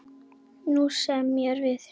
Nú semjum við!